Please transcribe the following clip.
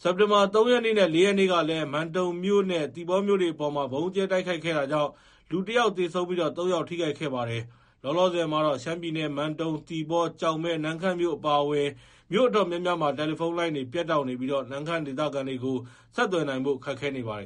။ စက်တင်ဘာ ၃ ရက်နေ့နဲ့ ၄ ရက်ကလည်း မန်တုံမြို့နဲ့ သီပေါမြို့တွေအပေါ် ဗုံးကြဲတိုက်ခိုက်တာကြောင့် လူ ၁ ယောက် သေဆုံးပြီး ၃ ယောက် ထိခိုက်ခဲ့ပါတယ်။ လောလောဆယ်မှာတော့ ရှမ်းပြည်နယ် မန်တုံ၊ သီပေါ၊ ကျောက်မဲ၊ နမ့်ခမ်းအပါအဝင်မြို့အတော်များများမှာ တယ်လီဖုန်းလိုင်းတွေ ပြတ်တောက်နေပြီး နမ့်ခမ်းဒေသခံတွေကို ဆက်သွယ်နိုင်ဖို့ ခက်ခဲနေပါတယ်